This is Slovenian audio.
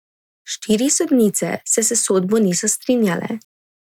Štiri sodnice se s sodbo niso strinjale.